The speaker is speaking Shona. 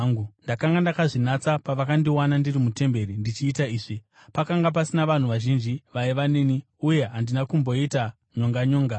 Ndakanga ndakazvinatsa pavakandiwana ndiri mutemberi ndichiita izvi. Pakanga pasina vanhu vazhinji vaiva neni, uye handina kumboita nyonganyonga.